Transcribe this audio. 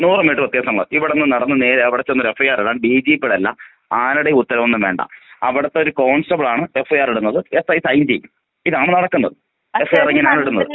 നൂറ് മീറ്റർ വ്യത്യാസമാ ഇവിടുന്ന് നടന്ന് നേരെ അവിടെ ചെന്ന് ഒരു എഫ്ഐആർ ഇടാൻ ഡിജിപിടെ അല്ല ആരുടെയും ഉത്തരവൊന്നും വേണ്ട അവിടുത്തെ ഒരു കോൺസ്റ്റബിൾ ആണ് എഫ്ഐആർ ഇടുന്നത് എ‌ ഐ സൈന് ചെയ്യും ഇതാണ് നടക്കുന്നത് എഫ്ഐആർ ഇങ്ങനെയാണ് ഇടുന്നത്.